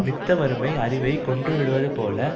நித்த வறுமை அறிவைக் கொன்றுவிடுவது போல